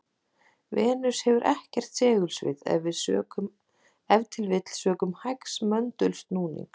Venus hefur ekkert segulsvið, ef til vill sökum hægs möndulsnúnings.